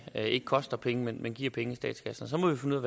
her ikke koster penge men giver penge i statskassen så må vi finde